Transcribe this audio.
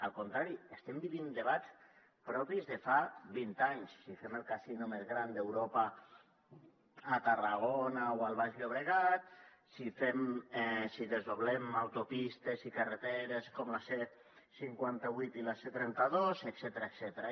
al contrari estem vivint debats propis de fa vint anys si fem el casino més gran d’europa a tarragona o al baix llobregat si desdoblem autopistes i carreteres com la c cinquanta vuit i la c trenta dos etcètera